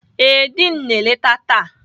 Ee, Diin na-eleta taa.